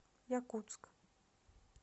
якутск